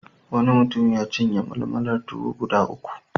Wani mutum ya cinye malmalar tuwo guda uku.